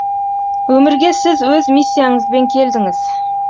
өмірге сіз өз миссияңызбен келдіңіз